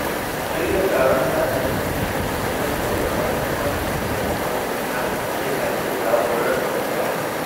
Shirya taron sada zumunta da tattauna muhimmancin taimakon jama'a yana iya zaburar da mutane.